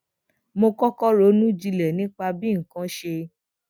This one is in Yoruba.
mo kókó ronú jinlè nípa bí nǹkan ṣe